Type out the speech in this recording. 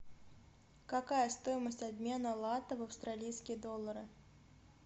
какая стоимость обмена лата в австралийские доллары